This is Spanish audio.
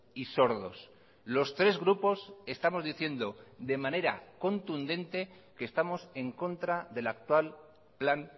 y sordos los tres grupos estamos diciendo de manera contundente que estamos en contra del actual plan